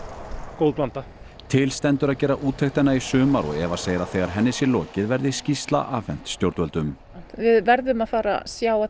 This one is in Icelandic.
góð blanda til stendur að gera úttektina í sumar og Eva segir að þegar henni sé lokið verði skýrsla afhent stjórnvöldum við verðum að fara að sjá að